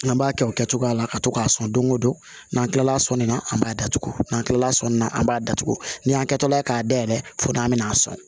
An b'a kɛ o kɛcogoya la ka to k'a sɔn don o don n'an kilala sɔnni na an b'a datugu n'an kilala sɔnni na an b'a datugu ni y'an kɛtɔla ye k'a dayɛlɛ fo n'an bɛna a sɔn